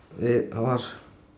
það var